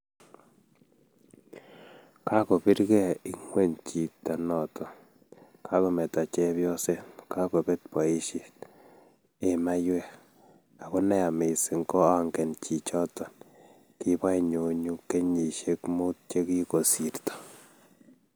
Kagobiregei ingweny chito noto:Kakometo chepyoset, kagobet boisiet, ee maywek. ago neya missing koangen chichoton-ki boinyonyu kenyishiek muut chegigosirto